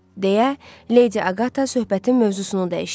deyə, Leydi Aqata söhbətin mövzusunu dəyişdi.